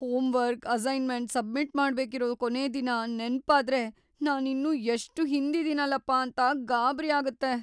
Homework assignment submit ಮಾಡೋಕಿರೋ ಕೊನೇ ದಿನ ನೆನ್ಪಾದ್ರೆ ನಾನಿನ್ನೂ ಎಷ್ಟ್‌ ಹಿಂದಿದಿನಲಪ್ಪ ಅಂತ ಗಾಬ್ರಿ ಆಗತ್ತೆ.